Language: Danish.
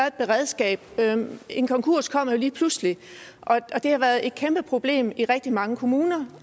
et beredskab en konkurs kommer jo lige pludselig og det har været et kæmpe problem i rigtig mange kommuner